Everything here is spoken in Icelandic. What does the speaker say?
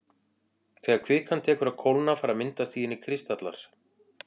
Þegar kvikan tekur að kólna fara að myndast í henni kristallar.